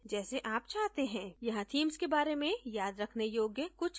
यहाँ themes के बारे में याद रखने योग्य कुछ चीजें है